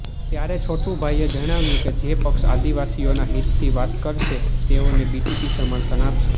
ત્યારે છોટુભાઇએ જણાવ્યું કે જે પક્ષ આદિવાસીઓના હિતની વાત કરશે તેઓને બીટીપી સમર્થન આપશે